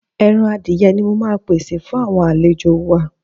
Ẹran adìye ni mo máa pèsè fún àwọn àlejò wa.